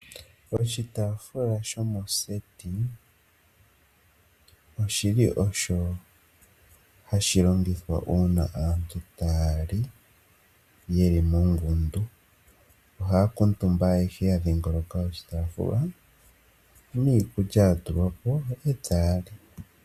Oshitaafula shomoseti oshili osho hashi longithwa uuna aantu ta yali yeli mongundu. Ohaya kuutumba ayehe ya dhingoloka oshitafula niikulya yatulwapo eta yali.